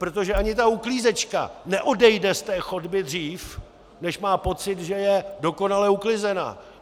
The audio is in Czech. Protože ani ta uklízečka neodejde z té chodby dřív, než má pocit, že je dokonale uklizená.